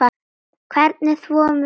Hvernig þvoum við fötin?